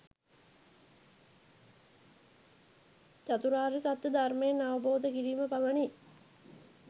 චතුරාර්ය සත්‍ය ධර්මය අවබෝධ කිරීම පමණි.